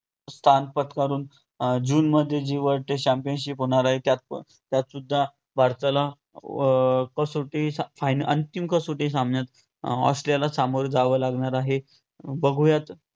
स्थान पत्कारून अं जूनमध्ये जी world trade championship होणार आहे, त्यातपण त्यातसुद्धा भारताला अं कसोटी फा~ अंतिम कसोटी सामन्यात ऑस्ट्रेलियाला सामोरे जावे लागणार आहे बघुयात